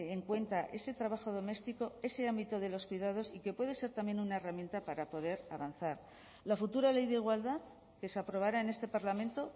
en cuenta ese trabajo doméstico ese ámbito de los cuidados y que puede ser también una herramienta para poder avanzar la futura ley de igualdad que se aprobará en este parlamento